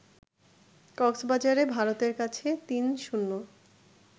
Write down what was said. কক্সবাজারে ভারতের কাছে ৩-০